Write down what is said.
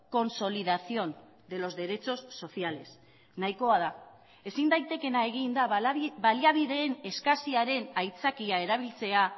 consolidación de los derechos sociales nahikoa da ezin daitekeena egin da baliabideen eskasiaren aitzakia erabiltzea